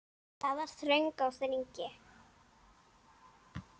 Það var þröng á þingi.